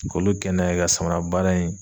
K'olu kɛ n'a ye ,ka samara baara in